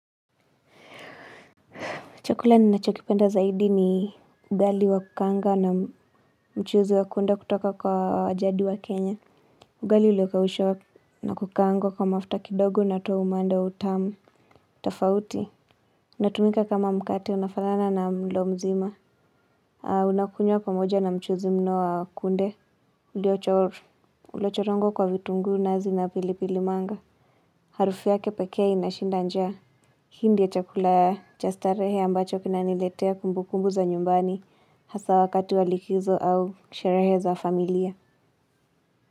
Chakula ninachokipenda zaidi ni ugali wa kukaanga na mchuzi wa kunde kutoka kwa ajadi wa kenya. Ugali uliokaushwa na kukaangwa kwa mafuta kidogo unatoa umanda wa utamu. Tafauti. Natumika kama mkate unafanana na mlo mzima. Unakunywa pamoja na mchuzi mno wa kunde. Uliochorongo kwa vitunguu nazi na pilipili manga. Harufu yake pekee inashinda njaa. Hii ndio chakula ya cha starehe ambacho kinaniletea kumbu kumbu za nyumbani hasa wakati wa likizo au sherehezo za familia.